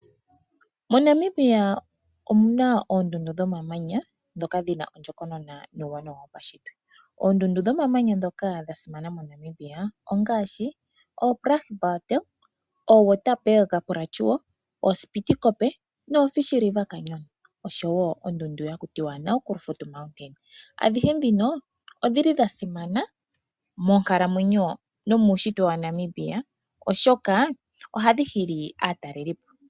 MoNamibia omu na oondundu dhomamanya ndhoka dhi na ondjokonona nuuwanawa wopashitwe. Oondundu dhomamanya ndhoka dha simana moNamibia ongaashi Brandberg, Waterberg plateu, Spitzkoppe nooFish river Canyon oshowo ondundu haku tiwa Naukluft mountain. Adhihe ndhino odhi li dha simana monkalamwenyo nomuushitwe waNamibia, oshoka ohadhi hili aatalelipo.